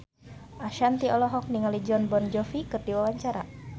Ashanti olohok ningali Jon Bon Jovi keur diwawancara